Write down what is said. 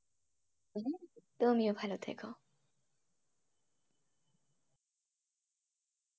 তুমিও ভালো থেকো।